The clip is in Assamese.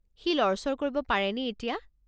সি লৰচৰ কৰিব পাৰেনে এতিয়া?